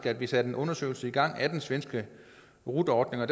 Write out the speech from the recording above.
at vi satte en undersøgelse i gang af den svenske rut ordning og